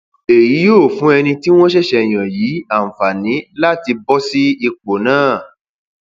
èyí yóò fún ẹni tí wọn ṣẹṣẹ yàn yìí àǹfààní láti bọ sí ipò náà